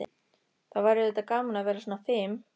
Það væri auðvitað gaman að vera svona fim.